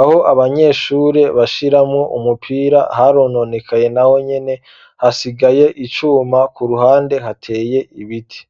aho abanyeshure bashiramwo umupira harononekaye naho nyene hasigaye icuma ku ruhande hateye ibiti.